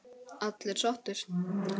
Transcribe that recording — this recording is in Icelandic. Allir sáttir?